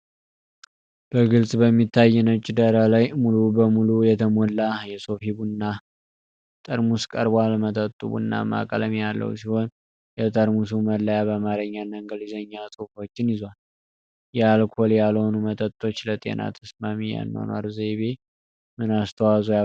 በግልጽ በሚታይ ነጭ ዳራ ላይ ሙሉ በሙሉ የተሞላ የሶፊ ቡና (Sofi Buna) ጠርሙስ ቀርቧል። መጠጡ ቡናማ ቀለም ያለው ሲሆን፣ የጠርሙሱ መለያ በአማርኛና እንግሊዝኛ ጽሑፎችን ይዟል። የአልኮል ያልሆኑ መጠጦች ለጤና ተስማሚ የአኗኗር ዘይቤ ምን አስተዋጽኦ ያበረክታሉ?